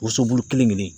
Woso bulu kelen kelen